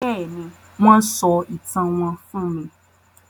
Béèni, wón sọ ìtàn wón fún mí